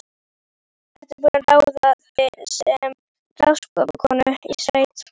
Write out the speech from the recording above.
Ertu búin að ráða þig sem ráðskonu í sveit?